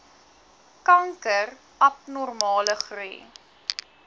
kanker abnormale groei